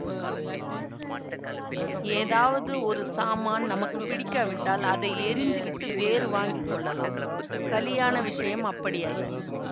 ஏதாவது ஒரு சாமான் நமக்கு பிடிக்காவிட்டால் அதை எறிந்து விட்டு வேறு வாங்கி கொள்ளலாம் கலியாண விஷயம் அப்படியல்ல